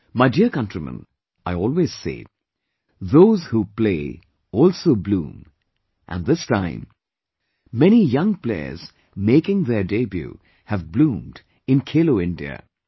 My dear countrymen, I always say, those who play, also bloom and this time, many young players making their debut have bloomed in 'KheloIndia'